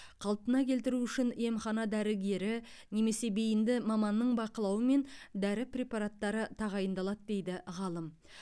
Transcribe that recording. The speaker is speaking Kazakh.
қалпына келтіру үшін емхана дәрігері немесе бейінді маманның бақылауымен дәрі препараттары тағайындалады дейді ғалым